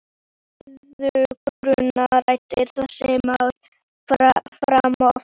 Mæðgurnar ræddu þessi mál fram og aftur.